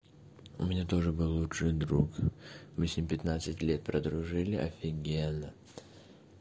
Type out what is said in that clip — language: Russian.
у меня тоже был лучший друг мы с ним пятнадцать лет прожили офигенно